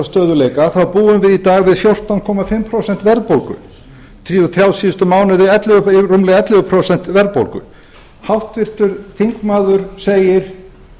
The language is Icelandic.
stöðugleika þá búum við í dag við fjórtán komma fimm prósent verðbólgu þrjá síðustu mánuði rúmlega ellefu prósent verðbólgu háttvirtur þingmaður segir